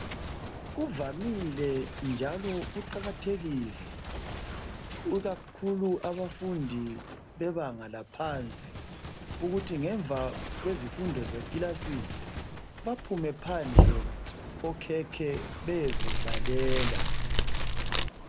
Kuvamile njalo kuqakathekile, ikakhulu kubafundi bebanga laphansi ukuthi ngemva kwezifundo zekilasini, baphume phandle okhekhe beyezidlalela.